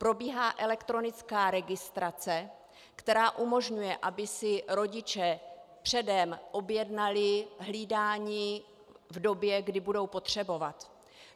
Probíhá elektronická registrace, která umožňuje, aby si rodiče předem objednali hlídání v době, kdy budou potřebovat.